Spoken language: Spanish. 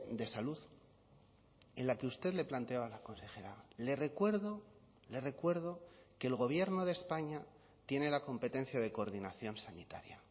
de salud en la que usted le planteaba a la consejera le recuerdo le recuerdo que el gobierno de españa tiene la competencia de coordinación sanitaria